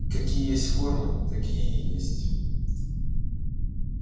какие есть формы такие и есть